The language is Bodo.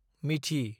मिथि